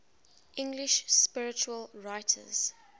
english spiritual writers